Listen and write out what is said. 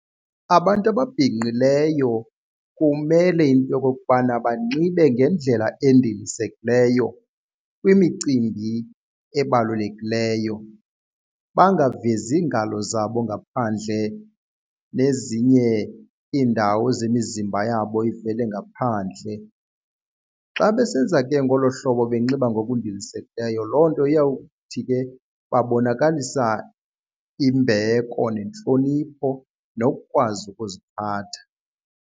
Abantu ababhinqileyo kumele into okokubana banxibe ngendlela endilisekileyo kwimicimbi ebalulekileyo, bangavezi iingalo zabo ngaphandle nezinye iindawo zemizimba yabo ivele ngaphandle. Xa besenza ke ngolo hlobo benxiba ngokundilisekileyo loo nto iyawuthi ke babonakalisa imbeko nentlonipho nokukwazi ukuziphatha.